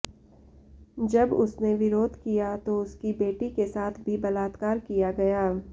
जब उसने विरोध किया तो उसकी बेटी के साथ भी बलात्कार किया गया